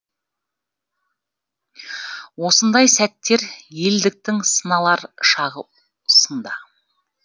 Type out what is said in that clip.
осындай сәттер елдіктің сыналар шағы сында